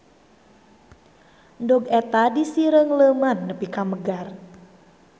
Endog eta disireungleuman nepi ka megar.